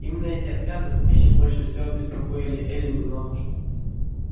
именно эти отказы от пищи больше всего беспокоили эллин и мамушку